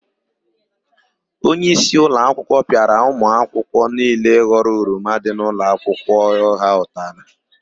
Onyeisi ụlọakwụkwọ pịara ụmụakwụkwọ niile ghọrọ oroma dị n'ụlọakwụkwọ ha ụtalị.